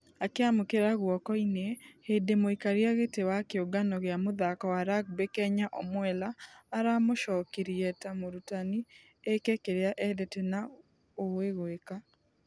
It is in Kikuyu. Akĩamũkĩra ....guoko-inĩ hĩndĩ mũikaria gĩtĩ wa kĩũngano gĩa mũthako wa rugby kenya omwela aramũcokirie ta mũrutani ĩke kĩrĩa endete na ũwe gwĩka.